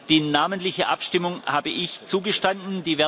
Die namentliche Abstimmung habe ich zugestanden